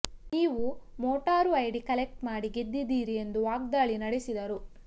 ನೀವು voter ID collect ಮಾಡಿ ಗೆದ್ಧಿದ್ದೀರಿ ಎಂದು ವಾಗ್ದಾಳಿ ನಡೆಸಿದರು